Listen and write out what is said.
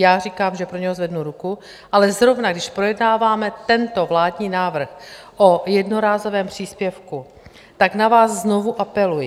Já říkám, že pro něj zvednu ruku, ale zrovna když projednáváme tento vládní návrh o jednorázovém příspěvku, tak na vás znovu apeluji.